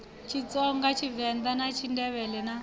tshitsonga tshivend a tshindevhele na